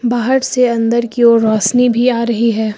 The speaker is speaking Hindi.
बाहर से अंदर की ओर रोशनी भी आ रही है।